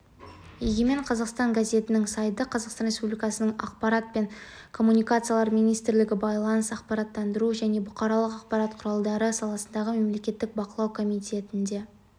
егемен қазақстан газетінің сайты қазақстан республикасының ақпарат және коммуникациялар министрлігі байланыс ақпараттандыру және бұқаралық ақпарат құралдары саласындағы мемлекеттік бақылау комитетінде